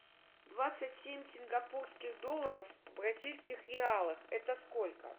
двадцать семь сингапурских долларов в бразильских реалах это сколько